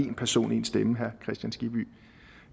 en person en stemme herre kristian skibby